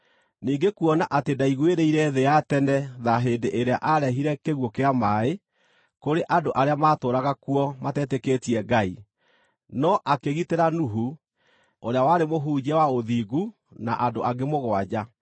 ningĩ kuona atĩ ndaiguĩrĩire thĩ ya tene tha hĩndĩ ĩrĩa aarehire kĩguũ kĩa maaĩ kũrĩ andũ arĩa maatũũraga kuo matetĩkĩtie Ngai, no akĩgitĩra Nuhu, ũrĩa warĩ mũhunjia wa ũthingu na andũ angĩ mũgwanja;